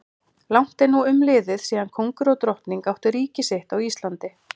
Langt er nú umliðið síðan kóngur og drottning áttu ríki sitt á Íslandi.